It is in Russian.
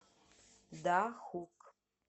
дахук